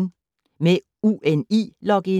Med UNI-login